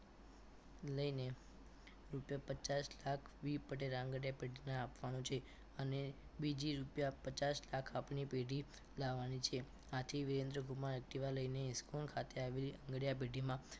લઈને રૂપિયા પચાસ લાખ V પટેલ આંગણીયા પેઢીને આપવાનું છે અને બીજી રૂપિયા પચાસ લાખ આપની પેઢી લાવવાની છે આથી વિરેન્દ્રકુમાર activa લઈને ઇસ્કોન ખાતે આવી રહેલા આંગણિયા પેઢીમાં